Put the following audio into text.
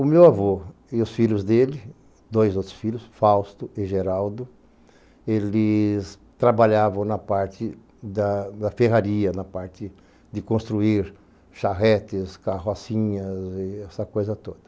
O meu avô e os filhos dele, dois outros filhos, Fausto e Geraldo, eles trabalhavam na parte da da ferraria, na parte de construir charretes, carrocinhas e essa coisa toda.